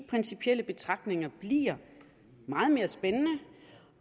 principielle betragtninger bliver meget mere spændende